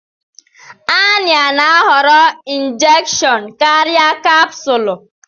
Annie na-ahọrọ injection karịa capsule.